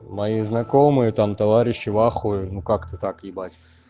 мои знакомые там товарищи в ахуе ну как-то так ебать